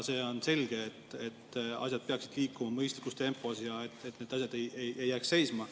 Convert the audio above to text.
On selge, et asjad peaksid liikuma mõistlikus tempos, et need asjad ei jääks seisma.